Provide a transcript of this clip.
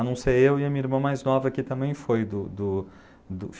A não ser eu e a minha irmã mais nova, que também foi filiada do do do